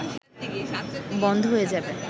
বন্ধ হয়ে যাবে